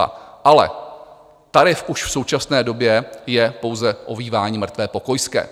Ale tarif už v současné době je pouze "ovívání mrtvé pokojské".